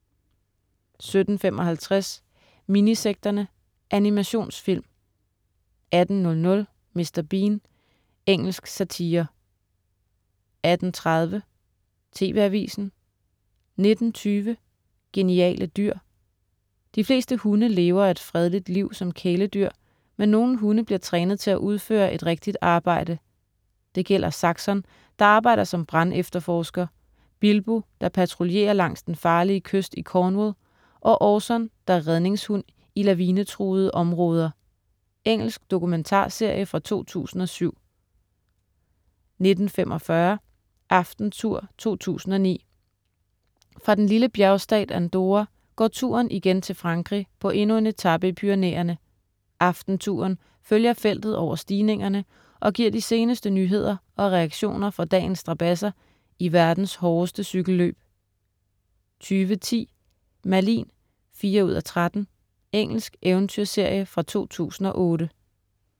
17.55 Minisekterne. Animationsfilm 18.00 Mr. Bean. Engelsk satire 18.30 TV Avisen 19.20 Geniale dyr. De fleste hunde lever et fredeligt liv som kæledyr, men nogle hunde bliver trænet til at udføre et rigtigt arbejde. Det gælder Saxon, der arbejder som brandefterforsker, Bilbo, der patruljerer langs den farlige kyst i Cornwall, og Orson, der er redningshund i lavinetruede områder. Engelsk dokumentarserie fra 2007 19.45 Aftentour 2009. Fra den lille bjergstat Andorra går touren igen til Frankrig på endnu en etape i Pyrenæerne. "Aftentouren" følger feltet over stigningerne og giver de seneste nyheder og reaktioner fra dagens strabadser i verdens hårdeste cykelløb 20.10 Merlin 4:13. Engelsk eventyrserie fra 2008